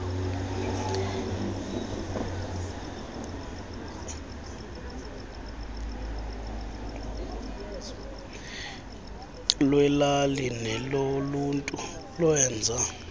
lweelali neloluntu lwenza